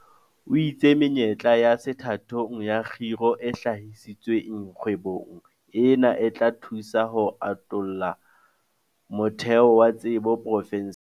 O itse menyetla ya sethathong ya kgiro e hlahisitsweng kgwebong ena e tla thusa ho atolla motheo wa tsebo profenseng.